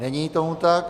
Není tomu tak.